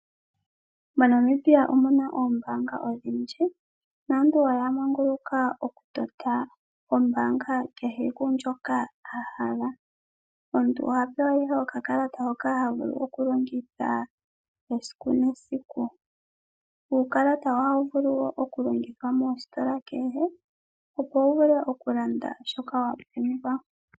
MoNamibia omuna oombanga odhindji, naantu oya manguluka okutota ombaanga kehe tuu ndjoka a hala. Omuntu oha oewa ihe okakalata hoka ha vulu okulongitha esiku nesiku. Uukalata ohawu vulu wo okulongithwa moositola kehe, opo wu vule okulanda shoka wa pumbwa.